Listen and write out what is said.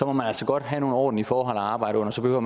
man altså godt have nogle ordentlige forhold at arbejde under så behøver